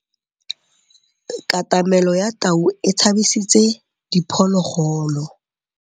Katamêlô ya tau e tshabisitse diphôlôgôlô.